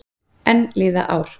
Enn líða ár.